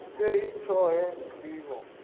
a i tei tshoṱhe ndivho